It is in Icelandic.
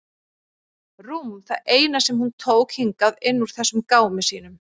Rúm það eina sem hún tók hingað inn úr þessum gámi sínum.